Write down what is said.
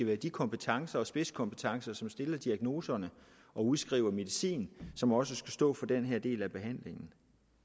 med de kompetencer og spidskompetencer som stiller diagnoserne og udskriver medicin som også skal stå for den her del af behandlingen